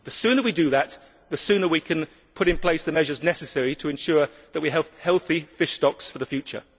The sooner we do that, the sooner we can put in place the measures necessary to ensure that we have healthy fish stocks for the future.